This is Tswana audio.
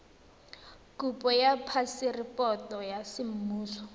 kopo ya phaseporoto ya semmuso